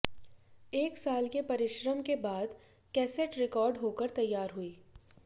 एक साल के परिश्रम के बाद कैसेट रिकॉर्ड होकर तैयार हुई